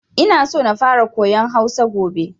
Ina so na fara koyan Hausa gobe.